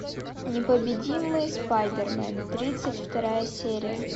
непобедимый спайдермен тридцать вторая серия